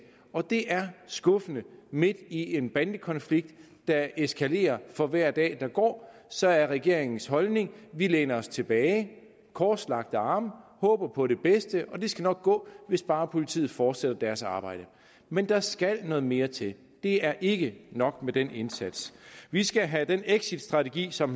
og det er skuffende midt i en bandekonflikt der eskalerer for hver dag der går så er regeringens holdning vi læner os tilbage med korslagte arme håber på det bedste og det skal nok gå hvis bare politiet fortsætter deres arbejde men der skal noget mere til det er ikke nok med den indsats vi skal have den exitstrategi som